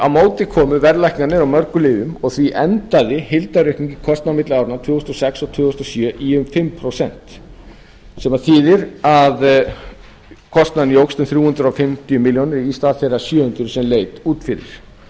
á móti komu verðlækkanir á mörgum lyfjum og því endaði heildaraukning í kostnaði á milli áranna tvö þúsund og sex og tvö þúsund og sjö í um fimm prósent sem þýðir að kostnaðurinn jókst um þrjú hundruð fimmtíu milljónir í stað þeirra sjö hundruð sem leit út fyrir